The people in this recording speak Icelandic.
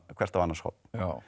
hvert á annars horn